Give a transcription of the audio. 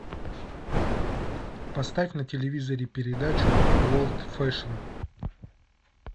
поставь на телевизоре передачу ворлд фэшн